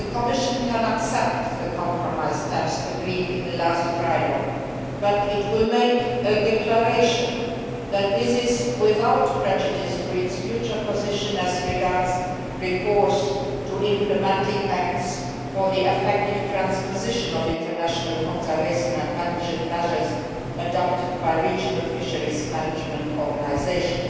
The Commission can accept the compromise text agreed in the last trialogue but it will make a declaration that this is without prejudice to its future position as regards recourse to implementing acts for the effective transposition of international conservation and management measures adopted by regional fisheries management organisations.